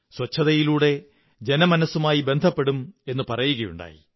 ശുചിത്വത്തിലൂടെ ജനമനസ്സുകളുമായി ബന്ധപ്പെടും എന്നു പറയുകയുണ്ടായി